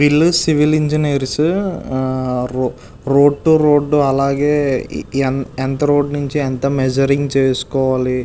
వీళ్లు సివిల్ ఆ engineers road to road అలాగే ఎంత రోడ్ నుంచి ఎంత మేజురింగ్ చేసుకోవాలి.